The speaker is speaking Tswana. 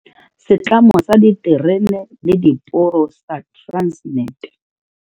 Setlamo sa Diterene le Diporo sa Transnet.